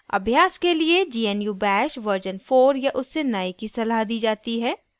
अभ्यास के लिए gnu bash version 4 या उससे नए की सलाह दी जाती है